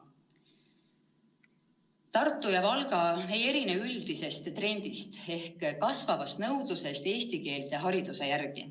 " Tartu ja Valga ei erine üldisest trendist ehk kasvavast nõudlusest eestikeelse hariduse järele.